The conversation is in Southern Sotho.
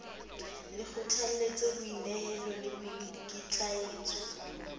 le kgothalletse boinehelo le boikitlaetso